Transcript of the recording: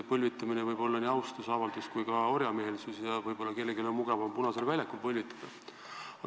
Põlvitamine võib olla nii austusavaldus kui ka orjameelsuse ilming ja võib-olla on kellelgi mugavam Punasel väljakul põlvitada.